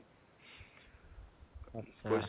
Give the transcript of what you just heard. আট্চ্চা